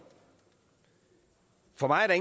for mig er